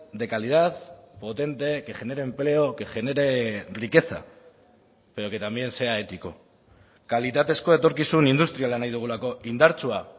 de calidad potente que genere empleo que genere riqueza pero que también sea ético kalitatezko etorkizun industriala nahi dugulako indartsua